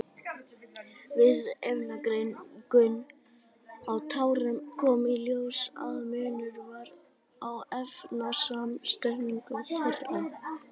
Við efnagreiningu á tárunum kom í ljós að munur var á efnasamsetningu þeirra.